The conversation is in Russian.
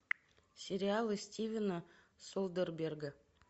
сериалы стивена содерберга